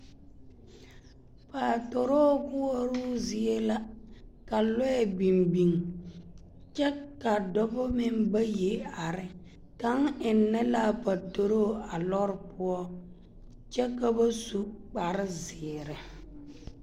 Paatoroo koɔroo zie la ka lɔɛ biŋ biŋ kyɛ ka dɔbɔ meŋ bayi are, kaŋa ennɛ la a patoroo a lɔɔre poɔ kyɛ ka ba su kpare zeere.